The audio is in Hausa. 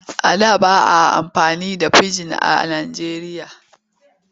A da ba a amfani da fijin a Nijeriya.